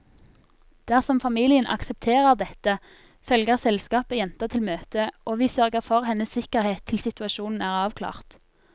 Dersom familien aksepterer dette, følger selskapet jenta til møtet, og vi sørger for hennes sikkerhet til situasjonen er avklart.